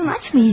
Karnın açmı?